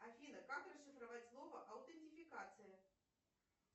афина как расшифровать слово аутентификация